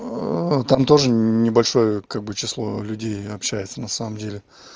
там тоже небольшое как бы число людей общаются на самом деле